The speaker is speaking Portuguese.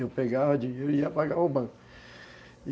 Eu pegava dinheiro e ia pagar o Banco.